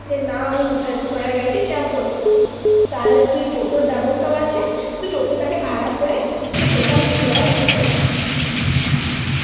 যে না আমি হা~ ঘোড়ার গাড়িতে চাপবো না, তাহলে তুই toto র ব্যবস্থাও আছে, তুই toto টাকে ভাড়া করে তুই গোটা মুশিদাবাদ ঘুরতে পারিস.